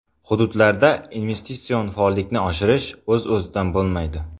Hududlarda investitsion faollikni oshirish o‘z-o‘zidan bo‘lmaydi.